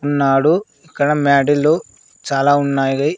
ఉన్నాడు అక్కడ మాడిలు చాలా ఉన్నాయిలే.